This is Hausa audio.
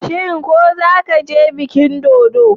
Shin ko zaka je bikin dodo?